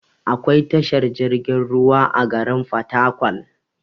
Akwai tashar jirgin ruwa a garin fatakwal